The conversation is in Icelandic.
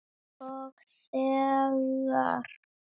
Og þegar